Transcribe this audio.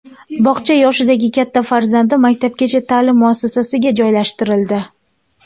Bog‘cha yoshidagi katta farzandi maktabgacha ta’lim muassasasiga joylashtirildi.